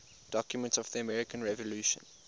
documents of the american revolution